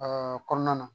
kɔnɔna na